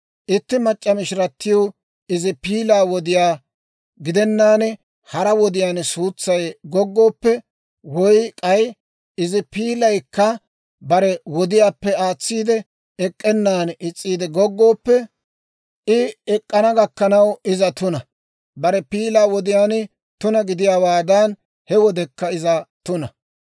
« ‹Itti mac'c'a mishiratiw izi piilaa wodiyaa gidenaan hara wodiyaan suutsay goggooppe, woy k'ay izi piilaykka bare wodiyaappe aatsiide ek'k'enan is's'iide goggooppe, I ek'k'ana gakkanaw iza tuna. Bare piilaa wodiyaan tuna gidiyaawaadan, he wodekka iza tuna.